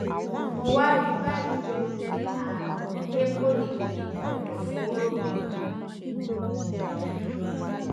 mo wá rí i báyìí pé mo ní àrùn ecoli nínú ẹdọfóró mi